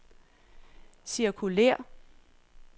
cirkulér